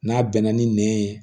N'a bɛnna ni nɛn ye